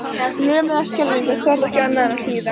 Lömuð af skelfingu þorði ég ekki annað en að hlýða.